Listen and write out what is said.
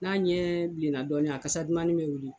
N'a ɲɛ bilenna dɔɔnin a kasa dumannin bɛ wuli